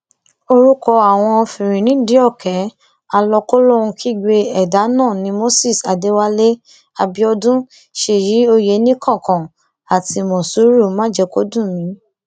orúkọ àwọn fìrínídìíọ̀kẹ́ àlọkólóhunkígbe ẹdà náà ni moses adéwálé abiodun ṣèyí ọyẹnìkankan àti mòṣúrù májèkọdùnmi